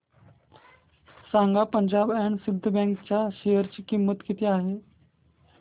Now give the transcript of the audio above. सांगा Punjab and Sind bank च्या share ची किंमत किती आहे